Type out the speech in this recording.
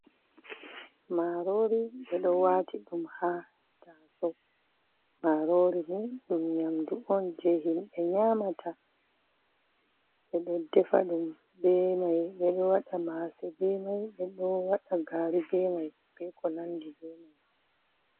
Marori ɓe ɗo waati ɗum ha taaso, marori ni ɗum nyamdu on jei himɓe nyamata, ɓe ɗo defa ɗum be mai ɓe ɗo waɗa maase be mai, ɓe ɗo waɗa gaari be mai be ko nandi be mai.